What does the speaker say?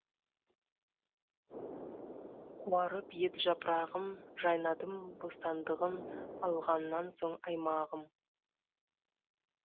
қуарып ед жапырағым жайнадым бостандығын алғаннан соң аймағым